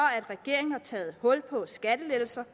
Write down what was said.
at regeringen har taget hul på skattelettelser